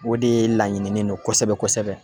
O de laɲininen don kosɛbɛ kosɛbɛ.